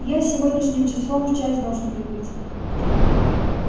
я сегодняшним числом в часть должен прибыть